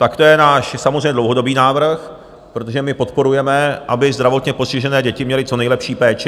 Tak to je náš samozřejmě dlouhodobý návrh, protože my podporujeme, aby zdravotně postižené děti měly co nejlepší péči.